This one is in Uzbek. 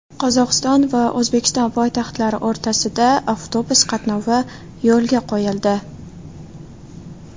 Qozog‘iston va O‘zbekiston poytaxtlari o‘rtasida avtobus qatnovi yo‘lga qo‘yildi.